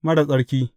Marar tsarki!’